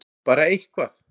Bara eitthvað!!!